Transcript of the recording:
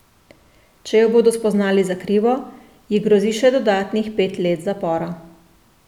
Če jo bodo spoznali za krivo, ji grozi še dodatnih pet let zapora.